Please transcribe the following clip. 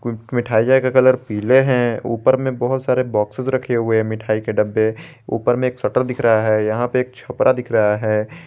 मिठाईया का कलर पीले हैं ऊपर में बहुत सारे बॉक्ससे रखे हुए मिठाई के डब्बे ऊपर में एक शटर दिख रहा है यहां पे एक छपरा दिख रहा है।